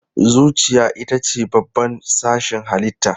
Zuciya ita ce babban sashin halitta.